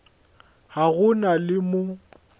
ga go na le mo